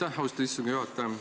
Aitäh, austatud istungi juhataja!